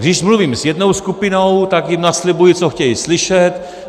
Když mluvím s jednou skupinou, tak jim naslibuji, co chtějí slyšet.